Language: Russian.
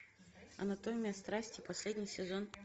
анатомия страсти последний сезон